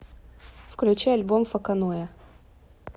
включить альбом фоконое